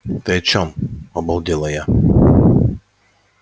ты о чем обалдела я